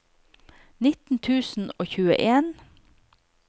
nitten tusen og tjueen